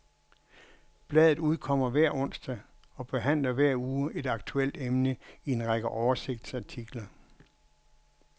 Bladet udkommer hver onsdag og behandler hver uge et aktuelt emne i en række oversigtsartikler.